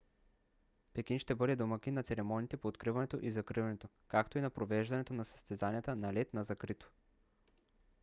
пекин ще бъде домакин на церемониите по откриването и закриването както и на провеждането на съзтезанията на лед на закрито